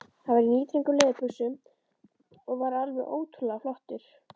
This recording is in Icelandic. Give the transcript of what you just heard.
Hann var í níðþröngum leðurbuxum og var alveg ótrúlega flottur.